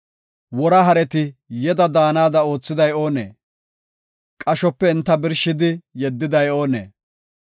“Wora hareti yeda daanada oothiday oonee? Qashope enta birshidi yeddiday oonee?